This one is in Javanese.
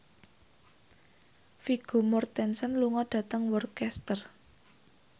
Vigo Mortensen lunga dhateng Worcester